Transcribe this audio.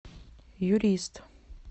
юрист